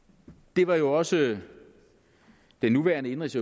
det var jo også den nuværende indenrigs